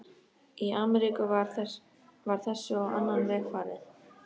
Í Ameríku var þessu á annan veg farið.